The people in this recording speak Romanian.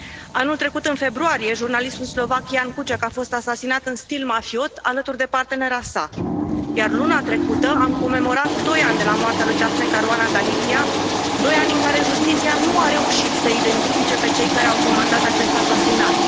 Anul trecut în februarie, jurnalistul slovac Ján Kuciak a fost asasinat în stil mafiot alături de partenera sa, iar luna trecută am comemorat doi ani de la moartea lui Daphne Caruana Galizia, doi ani în care justiția nu a reușit să i identifice pe cei care au comandat acest asasinat.